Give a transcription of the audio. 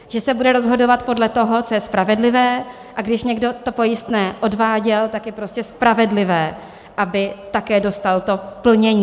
Že se bude rozhodovat podle toho, co je spravedlivé, a když někdo to pojistné odváděl, tak je prostě spravedlivé, aby také dostal to plnění.